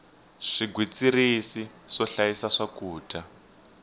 swigwitsirisi swo hlayisa swakudya